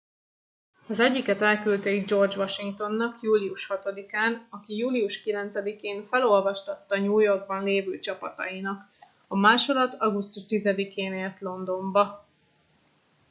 az egyiket elküldték george washingtonnak július 6 án aki július 9 én felolvastatta new yorkban lévő csapatainak a másolat augusztus 10 én ért londonba